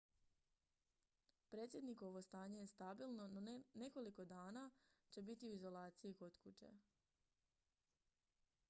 predsjednikovo stanje je stabilno no nekoliko će dana biti u izolaciji kod kuće